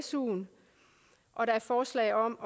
suen og der er forslag om